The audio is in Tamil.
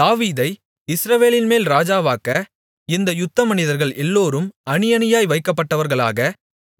தாவீதை இஸ்ரவேலின்மேல் ராஜாவாக்க இந்த யுத்தமனிதர்கள் எல்லோரும் அணி அணியாய் வைக்கப்பட்டவர்களாக